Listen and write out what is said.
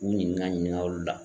U ɲininka ɲininka olu la.